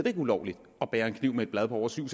er ulovligt at bære en kniv med et blad på over syv